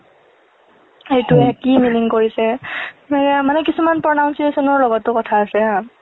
সেইটোৱে কি meaning কৰিছে। ~সেই মানে কিছুমান pronunciation ৰ লগতো কথা আছে।